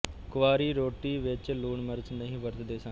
ਕੁਆਰੀ ਰੋਟੀ ਵਿੱਚ ਲੂਣ ਮਿਰਚ ਨਹੀਂ ਵਰਤਦੇ ਸਨ